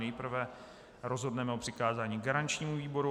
Nejprve rozhodneme o přikázání garančnímu výboru.